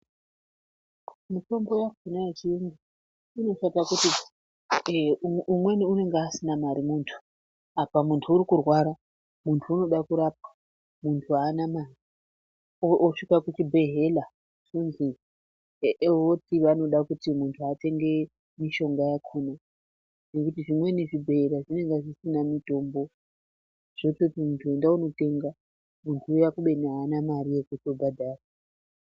Mitombo yakona yechiyungu inoshata kuti umweni unonga asina mare muntu apa muntu urukurwara ,muntu unoda kurapwa ,muntu anamare osvika kuchibhehleya ozwi ,vati vanoda kuti muntu atenge mishonga yakona , ngekuti zvimweni zvibhehleya zvinonga zvisina mutombo zvototi muntu enda wotenga munhu uya kubeni haana mare yekubhadhara.